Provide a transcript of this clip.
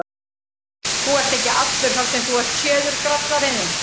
Þú ert ekki allur þar sem þú ert séður, grallarinn þinn!